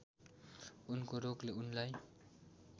उनको रोगले उनलाई